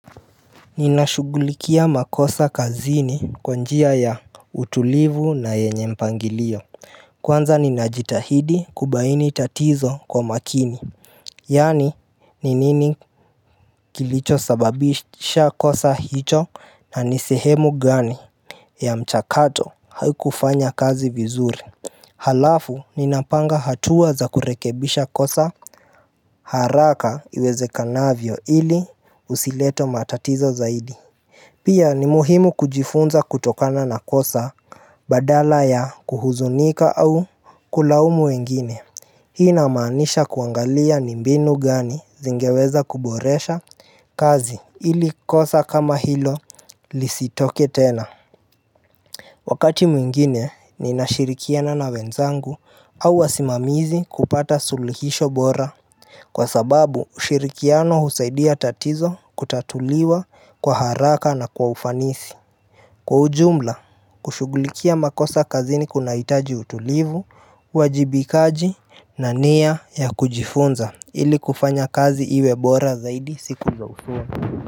Ninashughulikia makosa kazini kwa njia ya utulivu na yenye mpangilio. Kwanza ninajitahidi kubaini tatizo kwa makini. Yaani ni nini kilichosababisha kosa hicho na ni sehemu gani ya mchakato haukufanya kazi vizuri. Halafu ninapanga hatua za kurekebisha kosa haraka iwezekanavyo ili usilete matatizo zaidi Pia ni muhimu kujifunza kutokana na kosa badala ya kuhuzunika au kulaumu wengine. Hii inamaanisha kuangalia ni mbinu gani zingeweza kuboresha kazi ili kosa kama hilo lisitoke tena. Wakati mwingine ninashirikiana na wenzangu au wasimamizi kupata sulihisho bora. Kwa sababu ushirikiano husaidia tatizo kutatuliwa kwa haraka na kwa ufanisi. Kwa ujumla, kushughulikia makosa kazini kunahitaji utulivu, uwajibikaji na nia ya kujifunza ili kufanya kazi iwe bora zaidi siku za usoni.